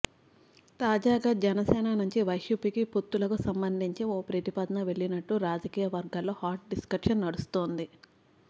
తాజాగా జనసేన నుంచి వైసీపీకి పొత్తులకు సంబంధించి ఓ ప్రతిపాదన వెళ్లినట్టు రాజకీయ వర్గాల్లో హాట్ డిస్కషన్ నడుస్తోంది